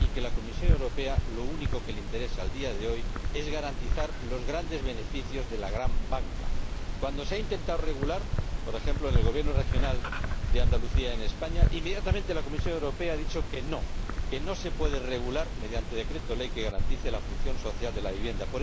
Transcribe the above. y a la Comisión Europea lo único que le interesa hoy en día es garantizar los grandes beneficios de la gran banca. Cuando se ha intentado regular por ejemplo, por parte del Gobierno regional de Andalucía, en España inmediatamente la Comisión Europea ha dicho que no, que no se puede regular mediante un decreto ley que garantice la función social de la vivienda.